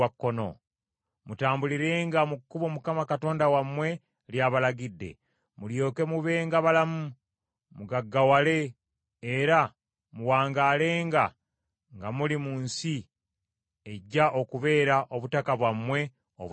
Mutambulirenga mu kkubo Mukama Katonda wammwe ly’abalagidde, mulyoke mubenga balamu, mugaggawale, era muwangaalenga nga muli mu nsi ejja okubeera obutaka bwammwe obw’enkalakkalira.”